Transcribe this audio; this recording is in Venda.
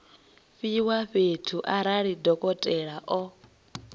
fhiwa fhedzi arali dokotela o